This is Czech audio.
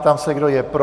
Ptám se, kdo je pro.